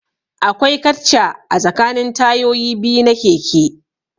Akwai katcha a tsakanin tayoyi biyu na keke